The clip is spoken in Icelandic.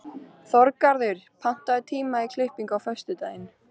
Þorgarður, pantaðu tíma í klippingu á föstudaginn.